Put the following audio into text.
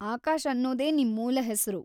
ಆಕಾಶ್‌ ಅನ್ನೋದೇ ನಿಮ್‌ ಮೂಲ ಹೆಸ್ರು.